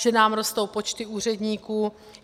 Že nám rostou počty úředníků.